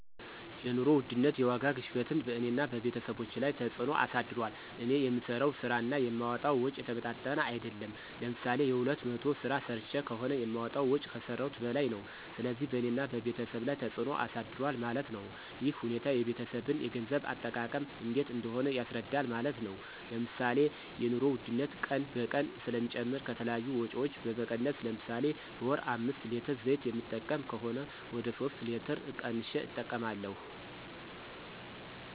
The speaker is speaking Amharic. የኑሮ ውድነት (የዋጋ ግሽበትን በእኔና በቤተሰቦቸ ላይ ተፅዕኖ አሳድሯል። እኔ የምሠራው ስራ እና የማወጣዉ ወጭ የተመጣጠነ አይደለም። ለምሳሌ የሁለት መቶ ስራ ሰርቸ ከሆነ የማወጣው ወጭ ከሰረውት በላይ ነው። ስለዚህ በእኔና በቤተሰብ ላይ ተፅዕኖ አሳድሯል ማለት ነው። ይህ ሁኔታ የቤተሰብን የገንዘብ አጠቃቀም እንዴት እንደሆነ ያስረዳል ማለት ነው። ለምሳሌ የኑሮ ውድነት ቀን በቀን ስለሚጨምር ከተለያዩ ወጭዎች በመቀነስ ለምሳሌ በወር አምስት ሌትር ዘይት የምጠቀም ከሆነ ወደ ሶስት ሌትር ቀንሸ እጠቀማለሁ።